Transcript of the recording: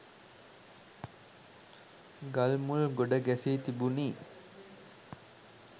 ගල් මුල් ගොඩ ගැසී තිබුණි.